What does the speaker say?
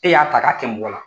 E y'a ta ka kɛ mɔgɔ la.